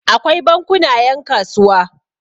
akwai bankuna yankasuwa